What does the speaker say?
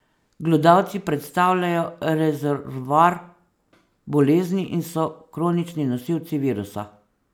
Glodavci predstavljajo rezervoar bolezni in so kronični nosilci virusa.